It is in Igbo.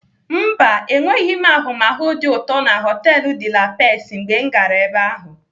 Mba, enweghị m ahụmahụ dị ụtọ na họtelu De la Pex mgbe m gara ebe ahu.